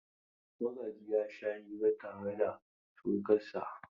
Magaji ya sha hira tare da surkansa.